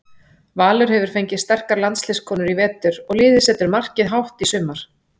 Valur hefur fengið fleiri sterkar landsliðskonur í vetur og liðið setur markið hátt í sumar.